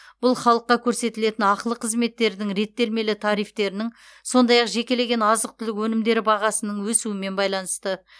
бұл халыққа көрсетілетін ақылы қызметтердің реттелмелі тарифтерінің сондай ақ жекелеген азық түлік өнімдері бағасының өсуімен байланысты